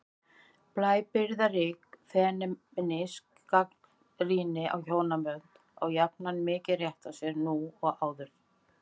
Blæbrigðarík femínísk gagnrýni á hjónabandið á jafn mikinn rétt á sér nú og oft áður.